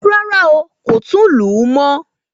Rárá o, kò tún lù ú mọ́.